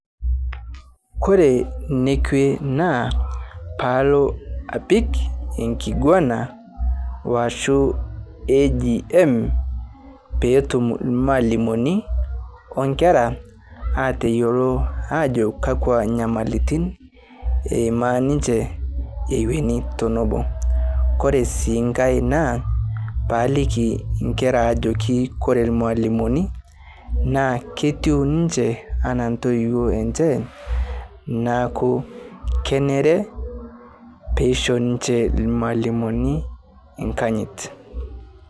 Kore nekwe naa paalo apik nkiguana ashu agm petum lmalimoni onkera ateyelo ajo kakwa nyamalitin eimaa ninche eweni tenobo, kore sii nkae naa paliki nkera ajoki kore lmalimoni ketiu ninche atua ntoiwuo enche naaku kenere peishoo nince lmalimoni nkanyit.